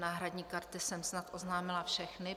Náhradní karty jsem snad oznámila všechny.